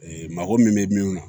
Ee mago min bɛ min na